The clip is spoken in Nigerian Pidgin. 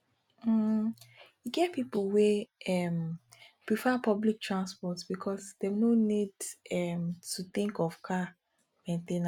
um e get pipo wey um prefer public transport because dem no need um to think of car main ten ance